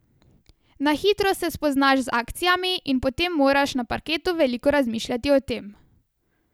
Na hitro se spoznaš z akcijami in potem moraš na parketu veliko razmišljati o tem.